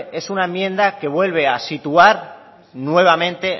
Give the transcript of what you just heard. es una enmienda que vuelve a situar nuevamente